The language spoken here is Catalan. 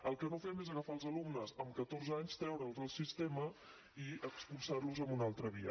el que no fem és agafar els alumnes amb catorze anys treure’ls del sistema i expulsar los a una altra via